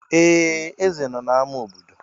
Ee! Eze nọ na ámá obodo.